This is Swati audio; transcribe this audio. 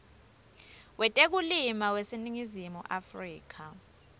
wetekulima waseningizimu afrika